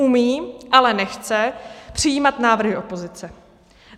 Umí, ale nechce přijímat návrhy opozice.